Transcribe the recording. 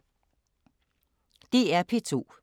DR P2